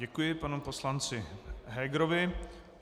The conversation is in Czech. Děkuji panu poslanci Hegerovi.